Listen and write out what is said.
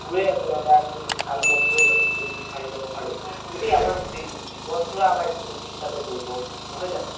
বোৰ আচ্ল্তে আমি য্দি ভাল বন্ধু এজ্ন য্দি বিচাৰি ল্'ব পাৰো গোতেই আমাৰ জিৱ্ন জোৰা আমাৰ স্মৃতি হিচাপে জৰিত হয় থাকে নহয় জানো